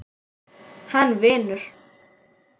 Hann vinur.